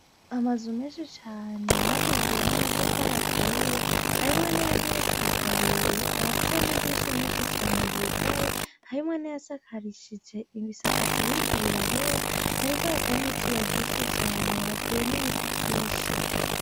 Amazu menshi cane yubakishijwe namatafari aturiye harimwo nayageretse kabiri ayafise namadirisha menshi cane yugaye harimwo nayasakarishije ibisakazo biriko birahera hariko haka nizuba ryinshi cane hateye nibiti vyinshi